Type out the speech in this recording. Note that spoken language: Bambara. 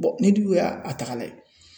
ni du y'a taga ka lajɛ